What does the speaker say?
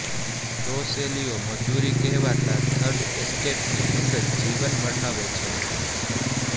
લો શૈલીઓ મજુરી કહેવાતા થર્ડ એસ્ટેટની અંગત જીવન વર્ણવે છે